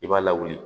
I b'a lawuli